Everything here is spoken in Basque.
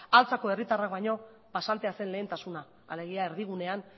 altzako herritarrak baino pasantea zen lehentasuna alegia erdigunean